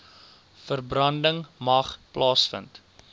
verbranding mag plaasvind